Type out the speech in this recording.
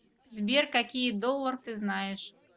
сбер какие доллар ты знаешь